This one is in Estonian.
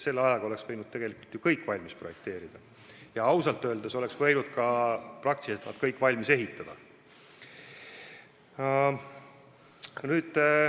Selle ajaga oleks võinud tegelikult need kõik projekteerida ja ausalt öeldes oleks võinud need kõik ka valmis ehitada.